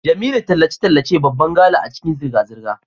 Jemilu tallace-tallace babban gala a cikin zirga-zirga.